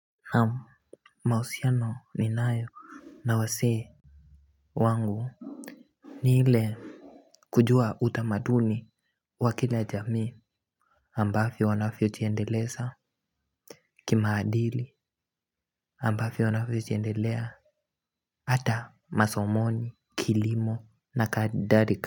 Naam mahusiano ninayo. Na wasee Wangu Ni ile kujua utamaduni wa kila jamii ambavyo wanavyojiendelesa. Kimaadili ambavyo wanavyojiendelea. Hata masomoni Kilimo Na kadarika.